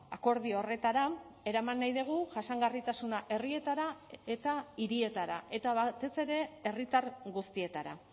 akordio horretara eraman nahi dugu jasangarritasuna herrietara eta hirietara eta batez ere herritar guztietara